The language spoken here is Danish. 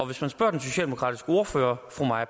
hvis man spørger den socialdemokratiske ordfører fru maja